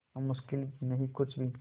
अब मुश्किल नहीं कुछ भी